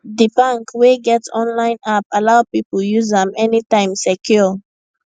d bank wey get online app allow people use am anytime secure